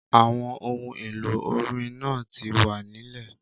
Àwọn ohun èlò orin náà ti wà nílè